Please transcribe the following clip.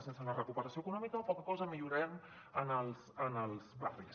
sense la recuperació econòmica poca cosa millorarem en els barris